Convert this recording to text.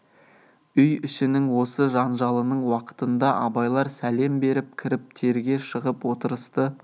үй ішінің осы жанжалының уақытында абайлар сәлем беріп кіріп терге шығып отырысты